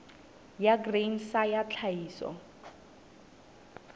ya grain sa ya tlhahiso